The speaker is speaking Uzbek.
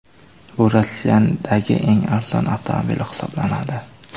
Bu Rossiyadagi eng arzon avtomobil hisoblanadi.